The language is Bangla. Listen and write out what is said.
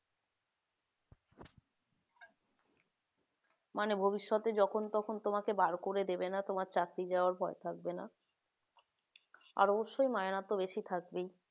মানে ভবিষ্যতে তোমাকে যখন তখন বের করে দিবে না তোমার চাকরি যাওয়ার ভয় থাকবে না আর অবশ্যই ময়নাতো বেশি থাকবেই